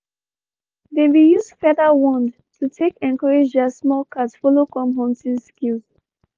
they been use feather wand to take encourage their small cat follow come hunting skills